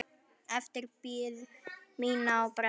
Eftir bið mína á brennu.